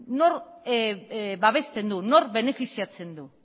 nork babesten du nork benefiziatzen du